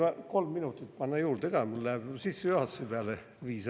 Ma palun kolm minutit panna juurde, mul läheb juba sissejuhatuse peale viis ära.